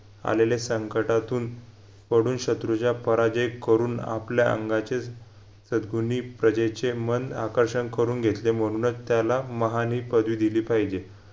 आलेले संकटातून सोडून शत्रूच्या पराजय करून आपल्या अंगाचे सद्गुणी प्रजेचे मन आकर्षण करून घेतले म्हणूनच त्याला महान ही पदवी दिली पाहिजे